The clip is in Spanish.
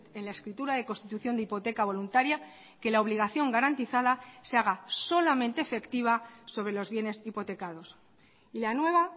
en la escritura de constitución de hipoteca voluntaria que la obligación garantizada se haga solamente efectiva sobre los bienes hipotecados y la nueva